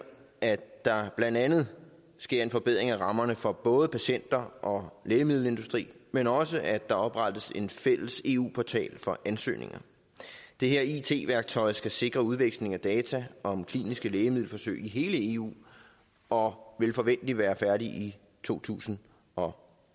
at der blandt andet sker en forbedring af rammerne for både patienter og lægemiddelindustrien men også at der oprettes en fælles eu portal for ansøgninger det her it værktøj skal sikre udveksling af data om kliniske lægemiddelforsøg i hele eu og vil forventeligt være færdigt i to tusind og